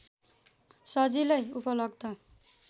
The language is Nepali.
सजिलै उपलब्ध